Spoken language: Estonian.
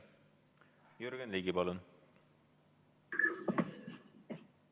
Jürgen Ligi, palun!